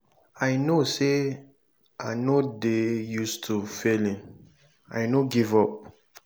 i no say i no dey use to failing i no give up.